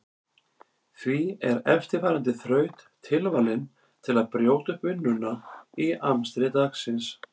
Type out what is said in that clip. Því er eftirfarandi þraut tilvalin til að brjóta upp vinnuna í amstri dagsins.